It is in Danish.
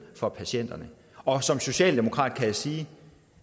for patienterne og som socialdemokrat kan jeg sige at